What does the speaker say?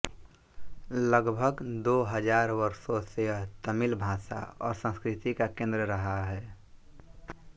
लगभग दो हजार वर्षों से यह तमिल भाषा और संस्कृति का केन्द्र रहा है